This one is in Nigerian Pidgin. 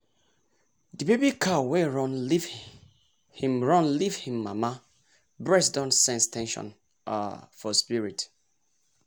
the baby cow wey run leave hin run leave hin mama breast don sense ten sion um for spirit